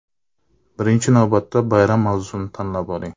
Birinchi navbatda bayram mavzusini tanlab oling.